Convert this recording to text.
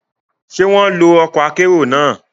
Ṣe wọn lo ọkọ akero náà?